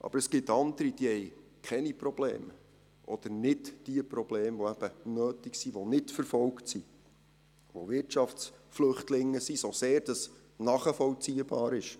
Aber es gibt andere, die haben keine Probleme oder nicht die Probleme, die eben nötig sind, solche die nicht verfolgt sind, die Wirtschaftsflüchtlinge sind – so sehr das nachvollziehbar ist.